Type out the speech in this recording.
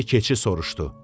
Deyə keçi soruşdu.